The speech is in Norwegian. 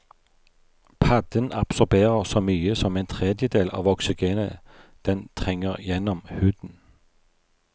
Padden absorberer så mye som en tredjedel av oksygenet den trenger gjennom huden.